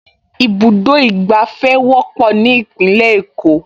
Ibùdó ìgbàfẹ́ wọ́pọ̀ ní Ìpínlẹ̀ Èkó